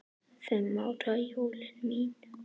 Fimm ára jólin mín.